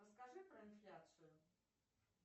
расскажи про инфляцию